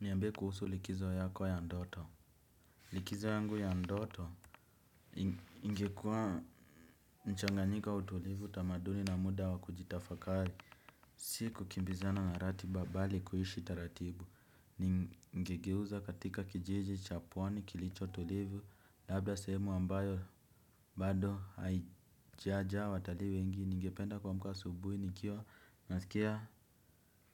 Niambie kuhusu likizo yako ya ndoto. Likizo yangu ya ndoto ingekuwa mchanganyiko wa utulivu tamaduni na muda wa kujitafakari. Si kukimbizana na ratiba bali kuishi taratibu. Ningegeuza katika kijiji cha pwani kilicho tulivu labda sehemu ambayo bado haijajaa watali wengi. Ningependa kuamka asubuhi nikiwa nasikia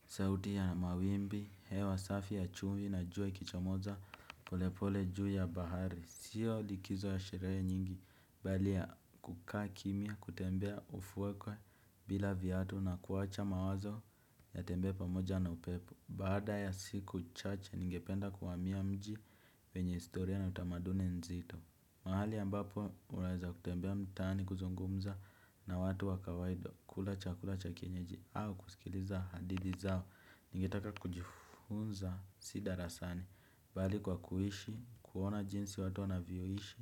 sauti ya mawimbi, hewa safi ya chumvi na juwa ikichamoza. Polepole juu ya bahari, siyo likizo ya sherehe nyingi, bali ya kukaa kimya, kutembea ufuekwe bila vyatu na kuwacha mawazo yatembee pamoja na upepo. Baada ya siku chache, ningependa kuamia mji wenye istoria na utamaduni nzito. Mahali ambapo unaeza kutembea mtaani kuzungumza na watu wa kawaida kula cha kula cha kienyeji au kusikiliza hadidhi zao. Ningetaka kujifunza si darasani bali kwa kuishi, kuona jinsi watu wanavyoishi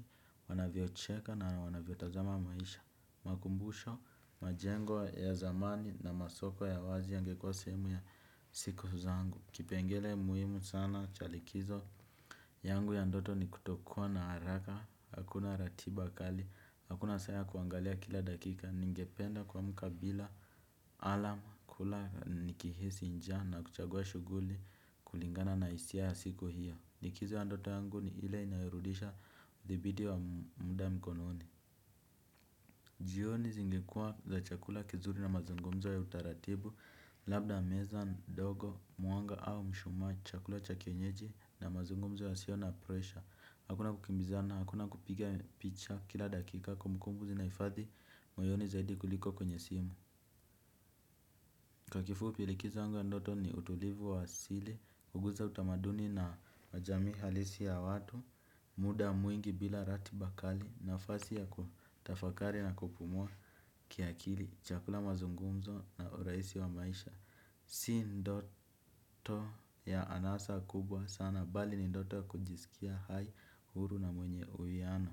wanavyocheka na wanavyotazama maisha. Makumbusho, majengo ya zamani na masoko ya wazi yangekuwa sehemu ya siku zangu. Kipengele muhimu sana, cha likizo yangu ya ndoto ni kutokuwa na haraka. Hakuna ratiba kali, hakuna saa ya kuangalia kila dakika. Ningependa kuamka bila alam. Kula nikihisi njaa na kuchagua shuguli kulingana na isia ya siko hiyo likizo ya ndoto yangu ni ile inayorudisha uthabiti wa muda mkononi. Jioni zingekuwa za chakula kizuri na mazungumzo ya utaratibu. Labda meza ndogo, mwanga au mushumaa chakula cha kienyeji na mazungumzo yasio na pressure. Hakuna kukimbizana, hakuna kupiga picha kila dakika kumbukumbuku zinaifadhi moyoni zaidi kuliko kwenye simu. Kwa kifupi likizo yangu ya ndoto ni utulivu wa asili, huguza utamaduni na majamii halisi ya watu, muda mwingi bila ratiba kali, nafasi ya kutafakari na kupumua kiakili, chakula mazungumzo na uraisi wa maisha. Si ndoto ya anasa kubwa sana, bali ni ndoto ya kujisikia hai huru na mwenye uwiano.